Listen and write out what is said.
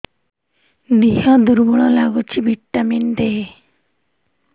ଦିହ ଦୁର୍ବଳ ଲାଗୁଛି ଭିଟାମିନ ଦେ